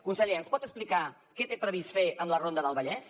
conseller ens pot explicar què té previst fer amb la ronda del vallès